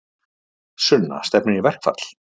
Sunna: Stefnir í verkfall?